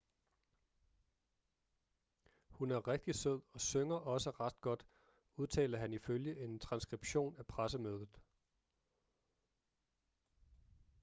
hun er rigtig sød og synger også ret godt udtalte han ifølge en transskription af pressemødet